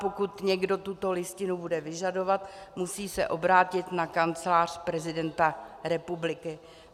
Pokud někdo tuto listinu bude vyžadovat, musí se obrátit na Kancelář prezidenta republiky.